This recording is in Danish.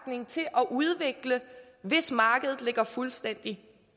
at udvikle hvis markedet ligger fuldstændig